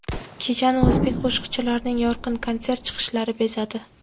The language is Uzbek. Kechani o‘zbek qo‘shiqchilarining yorqin konsert chiqishlari bezadi.